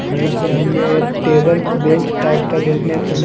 वहीं पे हमें एक टेबल बेंच टाइप का देखने को--